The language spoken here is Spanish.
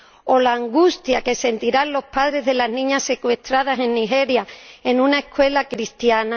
¿O la angustia que sentirán los padres de las niñas secuestradas en Nigeria en una escuela cristiana?